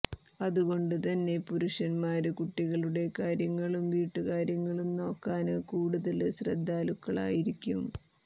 അതുകൊണ്ട് തന്നെ പുരുഷന്മാര് കുട്ടികളുടെ കാര്യങ്ങളും വീട്ടുകാര്യങ്ങളും നോക്കാന് കൂടുതല് ശ്രദ്ധാലുക്കളായിരിക്കും